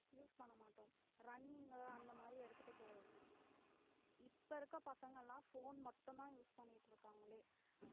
use பண்ண மாட்டோம் running உ அந்தமாதிரி எடுத்துட்டு போவோம் இப்ப இருக்க பசங்களாம் phone மட்டும் தான் use பண்ணிட்டு இருக்காங்களே